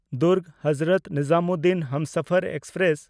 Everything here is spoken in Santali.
ᱫᱩᱨᱜᱽ-ᱦᱚᱡᱨᱚᱛ ᱱᱤᱡᱟᱢᱩᱫᱽᱫᱷᱱ ᱦᱟᱢᱥᱟᱯᱷᱟᱨ ᱮᱠᱥᱯᱨᱮᱥ